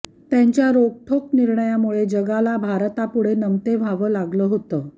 त्यांच्या रोखठोक निर्णयांमुळे जगाला भारतापुढे नमते व्हावं लागलं होतं